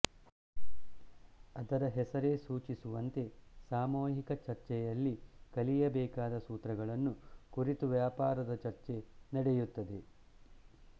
ಅದರ ಹೆಸರೇ ಸೂಚಿಸುವಂತೆ ಸಾಮೂಹಿಕ ಚರ್ಚೆಯಲ್ಲಿ ಕಲಿಯಬೇಕಾದ ಸೂತ್ರಗಳನ್ನು ಕುರಿತು ವ್ಯಾಪಕವಾದ ಚರ್ಚೆ ನಡೆಯುತ್ತದೆ